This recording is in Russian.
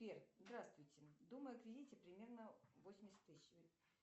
сбер здравствуйте думаю о кредите примерно восемьдесят тысяч